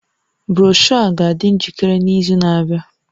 Broshọ a ga-adị njikere n'izu na-abịa